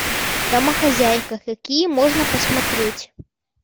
домохозяйка какие можно посмотреть